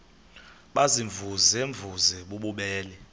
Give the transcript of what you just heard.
baziimvuze mvuze bububele